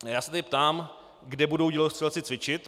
Já se tedy ptám, kde budou dělostřelci cvičit.